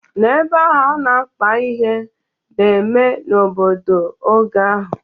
N'ebe ahụ a na-akpa ihe na-eme n'obodo oge ahụ